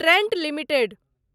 Trent limited